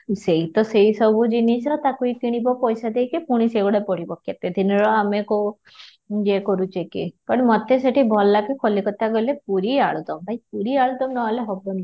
ସେଇ ତ ସେଇ ସବୁ ଜିନିଷ ତାକୁ ହିଁ କିଣିବ ପଇସା ଦେଇକି ପୁଣି ସେଇ ଗୁଡା ପଡିବ କେତେ ଦିନର କଉ ୟେ କହୁଛେ କି କାରଣ ମୋତେ ସେଠି ଭଲ ଲାଗେ କଲିକତା ଗଲେ ପୁରୀ ଆଳୁଦମ ଭାଇ ପୁରୀ ଆଳୁଦମ ନ ହେଲେ ହେବନି